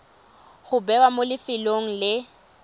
go bewa mo lefelong le